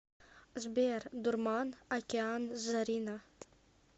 сбер дурман океан зарина